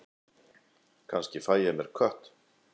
Kannski fæ ég mér kött.